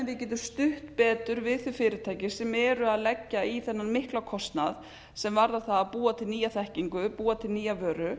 getum stutt betur við þau fyrirtæki sem eru að leggja í þennan mikla kostnað sem varðar það að búa til nýja þekkingu búa til nýja vöru